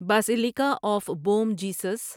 basilica of Bom Jesus